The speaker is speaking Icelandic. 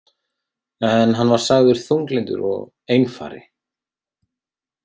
En hann var sagður þunglyndur og einfari.